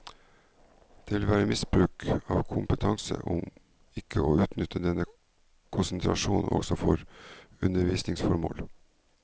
Det vil være misbruk av kompetanse ikke å benytte denne konsentrasjonen også for undervisningsformål.